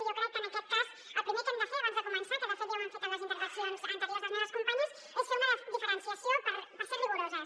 i jo crec que en aquest cas el primer que hem de fer abans de començar que de fet ja ho han fet en les intervencions anteriors les meves companyes és fer una diferenciació per ser rigoroses